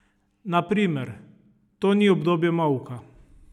Na primer: 'To ni obdobje molka.